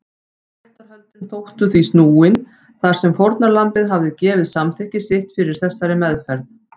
Réttarhöldin þóttu því snúin þar sem fórnarlambið hafði gefið samþykki sitt fyrir þessari meðferð.